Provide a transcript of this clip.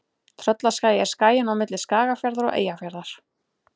Tröllaskagi er skaginn á milli Skagafjarðar og Eyjafjarðar.